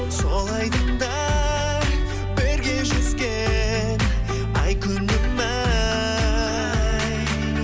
сол айдында бірге жүзген ай күнім ай